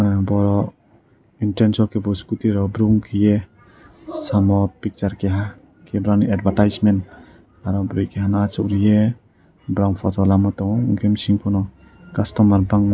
bo interance ke scooty rok burung keiei samo picture kaiha rani advertisement aro bwri kesa asuk reiui borong photo lama tongo enke mechine keho customer bangma.